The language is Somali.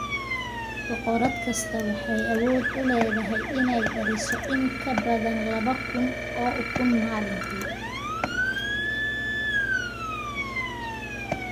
Boqorad kasta waxay awood u leedahay inay dhaliso in ka badan laba kun oo ukun maalintii.